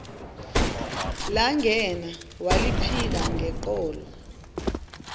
langena waliphika ngeqholo